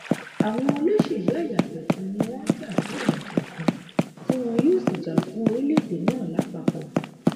àwọn olóṣèlú ẹyà kọọkan ni wọn ń jà fún ẹyà kọọkan tí wọn yóò sì jà fún orílẹèdè náà lápapọ